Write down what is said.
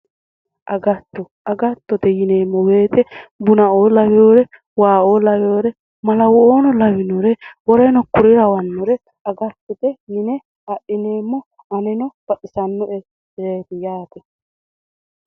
Agatto agattote yineemo woyite buna"oo lawore wa"oo lawore malawo"oono lawinore agattote woleno kuri lawannore agattote yine adhineemo baxisanoereeti yaate